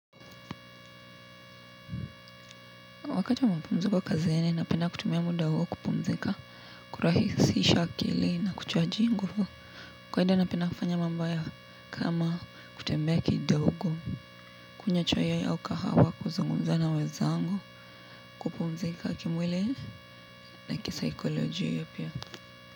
Wakati wa mapumziko kazini napenda kutumia muda huo kupumzika, kurahisisha akili na kuchaji nguvu. Kawaida napenda kufanya mambo kama kutembea kidogo, kunywa chai au kahawa kuzungunza na wezangu kupumzika kimwili na kisaikolojia pia.